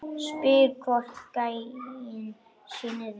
Spyr hvort gæinn sé niðri.